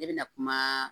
Ne bɛna kuma